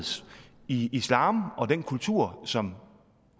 i islam og den kultur som